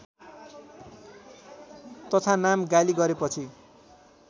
तथानाम गाली गरेपछि